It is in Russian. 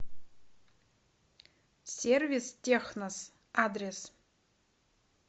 сервис технос адрес